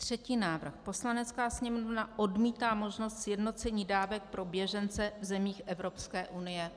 Třetí návrh: "Poslanecká sněmovna odmítá možnost sjednocení dávek pro běžence v zemích EU."